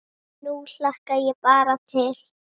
Nú hlakka ég bara til.